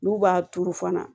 N'u b'a turu fana